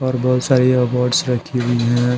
बहुत सारे अवार्ड्स रखे हुए है।